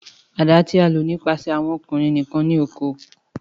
Àdá ti a lo nipasẹ awọn ọkunrin nikan ni oko.